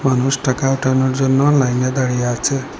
মানুষ টাকা ওঠানোর জন্য লাইনে দাঁড়িয়ে আছে।